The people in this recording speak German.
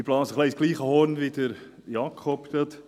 Ich blase ins gleiche Horn wie Jakob eben.